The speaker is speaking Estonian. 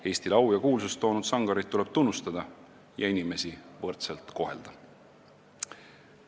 Eestile au ja kuulsust toonud sangareid tuleb tunnustada ja inimesi võrdselt kohelda.